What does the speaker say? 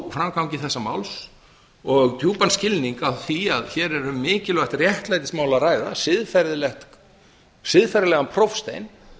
framgangi þessa máls og djúpan skilning á því að hér er um mikilvægt réttlætismál að ræða siðferðilega prófstein